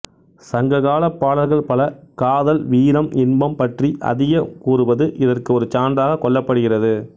சங்க காலப் பாடல்கள் பல காதல் வீரம் இன்பம் பற்றி அதிகம் கூறுவது இதற்கு ஒரு சான்றாக கொள்ளப்படுகிறது